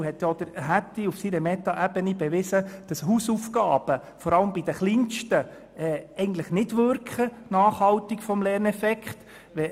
Eine andere Studie hat zum Beispiel bewiesen, dass Hausaufgaben vor allem bei den Kleinsten keinen nachhaltigen Lerneffekt haben.